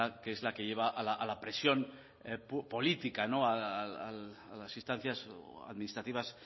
que es la que lleva a la presión política a las instancias administrativas